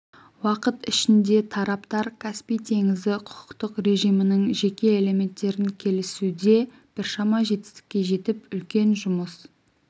уақыт ішінде тараптар каспий теңізі құқықтық режимінің жеке элементтерін келісуде біршама жетістікке жетіп үлкен жұмыс